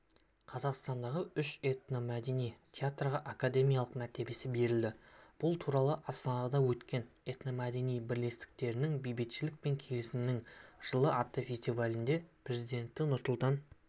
қазақстандағы үш этномәдени театрға академиялық мәртебесі берілді бұл туралы астанада өткен этномәдени бірлестіктерінің бейбітшілік пен келісімнің жылы атты фестивалінде президенті нұрсұлтан